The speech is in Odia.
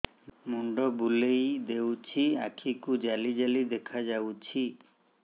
ମୁଣ୍ଡ ବୁଲେଇ ଦେଉଛି ଆଖି କୁ ଜାଲି ଜାଲି ଦେଖା ଯାଉଛି